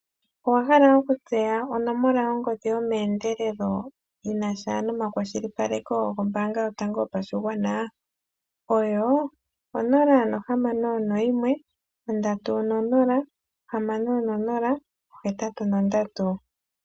Owahala okutseya onomola yongodhi yomeendelelo yinasha nomakwashilipaleko gombaanga yotango yopashigwana oyo 061306083